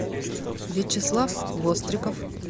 вячеслав востриков